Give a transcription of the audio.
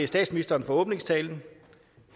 statsministeren for åbningstalen